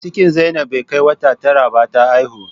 Cikin zainab bai kai wata tara ba ta haihu